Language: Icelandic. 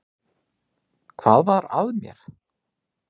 Hvað var að mér!